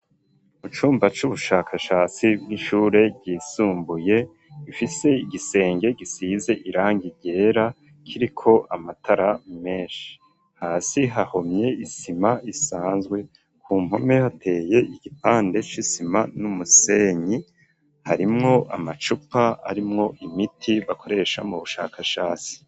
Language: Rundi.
Mucumba c'ubushakashasi bw'ishure ryisumbuye, ifise igisenge gisize irangi ryera ,kiriko amatara menshi hasi hahomye isima ,isanzwe ku mpome hateye igipande c'isima n'umusenyi ,harimwo amacupa arimwo imiti bakoresha mu bushakashasi.